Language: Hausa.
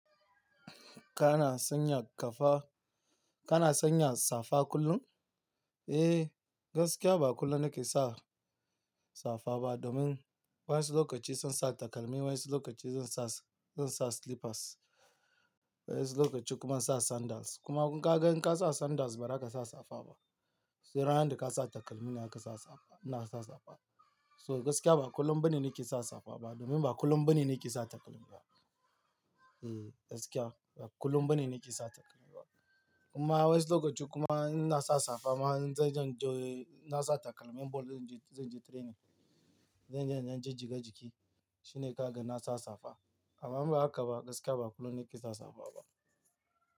Kana sanya ƙafa-- kana sanya safa kullum? Eh, gaskiya ba kullum nake sa safa ba domin wasu lokaci zan sa takalmi, wasu lokaci zan sa, zan sa slippers, wasu lokaci kuma insa sandals. Kuma kun ka ga in ka sa sandals ba zaka sa safa ba. Sai ranar da ka sa takalmi naka sa safa, ina sa safa. So gaskiya ba kullum bane nake sa safa ba domin ba kullum bane nake sa takalmi ba. Hmm gaskiya ba kullum bane nake sa takalmi ba. Kuma wasu lokaci kuma ina sa safa ma zan je juye-- na sa takalmin ball zan je, zan je training. Zan je, in dan jijjiga jiki. Shine ka ga na sa safa. Amma ba haka ba, gaskiya ba kullum nake sa safa ba.